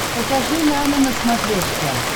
покажи нано на смотрешке